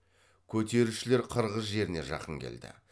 көтерілісшілер қырғыз жеріне жақын келді